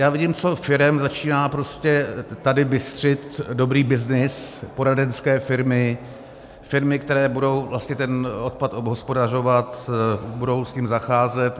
Já vím, co firem začíná prostě tady bystřit dobrý byznys, poradenské firmy, firmy, které budou vlastně ten odpad obhospodařovat, budou s ním zacházet.